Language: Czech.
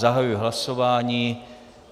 Zahajuji hlasování.